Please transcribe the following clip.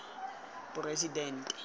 poresidente